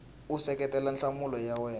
u seketela nhlamulo ya wena